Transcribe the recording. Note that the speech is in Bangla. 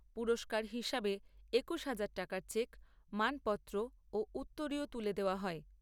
পুরস্কার হিসাবে একুশ হাজার টাকার চেক, মানপত্র, ও উত্তরীয় তুলে দেওয়া হয়।